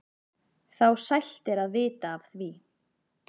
þá sælt er að vita af því.